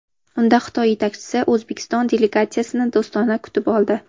Unda Xitoy yetakchisi O‘zbekiston delegatsiyasini do‘stona kutib oldi.